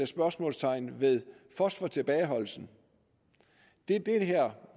spørgsmålstegn ved fosfortilbageholdelsen det det her